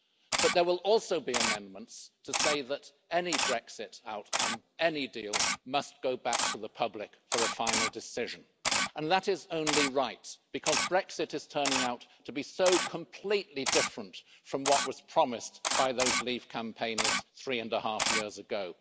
But there will also be amendments to say that any Brexit outcome, any deal, must go back to the public for a final decision and that is only right because Brexit is turning out to be so completely different from what was promised by those leave campaigners three and half years ago.